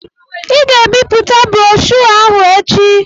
Ị ga-ebipụta broshoo ahụ echi!